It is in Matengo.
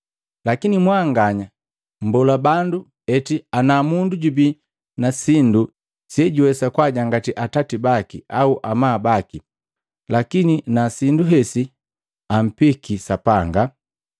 Lakini Mwanganya mbola bandu eti ana mundu jubi na sindu sejuwesa kwaajangati atati baki au amabu baki, lakini na sindu sehesi ampiiki Sapanga,”